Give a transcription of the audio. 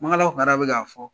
Mankala Kamara be ka fɔ